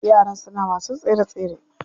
Yaran suna wasan tsere tsere.